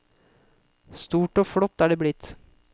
Stort og flott er det blitt.